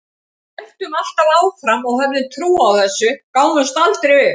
Við héldum alltaf áfram og höfðum trú á þessu, gáfumst aldrei upp.